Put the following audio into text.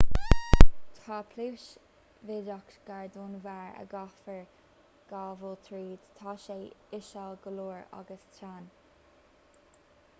tá pluais bhídeach gar don bharr a gcaithfear gabháil tríd tá sé íseal go leor agus teann